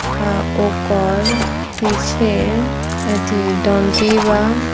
उकार पीछे ऐथि दन्टी बा।